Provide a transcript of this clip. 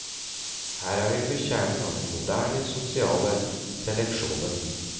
Her er vi ved kjernen av den moderne sosiale seleksjonen.